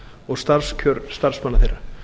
og starfskjör starfsmanna þeirra